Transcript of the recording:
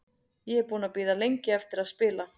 Ég er búinn að bíða lengi eftir að spila.